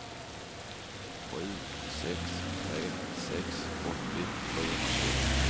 sju sex tre sex åttio sjuhundratjugo